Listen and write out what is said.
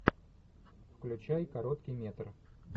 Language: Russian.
включай короткий метр